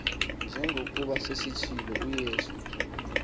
njengokuba sesitshilo uyesu